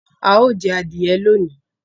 A yóò jé adìye lóni.